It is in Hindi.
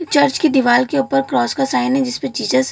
चर्च के दीवाल के ऊपर क्रॉस का साइन है जिसमे जीजस --